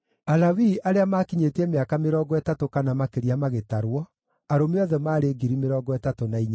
Alawii arĩa maakinyĩtie mĩaka mĩrongo ĩtatũ kana makĩria magĩtarwo, nao arũme othe maarĩ 38,000.